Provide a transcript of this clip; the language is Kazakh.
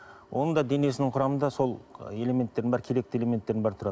оның да денесінің құрамында сол элементтердің бәрі керекті элементтердің бәрі тұрады